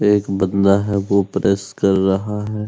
एक बंदा है वो प्रेस कर रहा है।